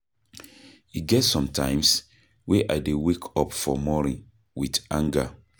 E get sometimes wey I dey wake up for morning wit anger.